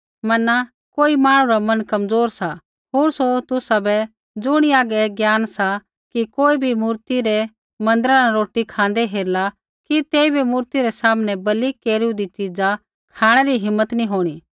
मना कोई मांहणु रा मन कमज़ोर सा होर सौ तुसाबै ज़ुणी हागै ऐ ज्ञान सा कि कोई भी मूर्ति रै मन्दिरा न रोटी खाँदै हेरला कि तेइबै मूर्ति रै सामनै बलि केरूईदी च़ीजा बै खाँणै री हिम्मत नी होंणी